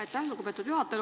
Aitäh, lugupeetud juhataja!